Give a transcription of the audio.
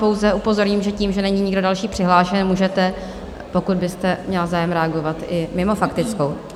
Pouze upozorním, že tím, že není nikdo další přihlášený, můžete, pokud byste měla zájem, reagovat i mimo faktickou.